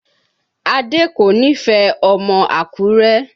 Adé kò nífẹ̀ẹ́ ọmọ Àkúrẹ́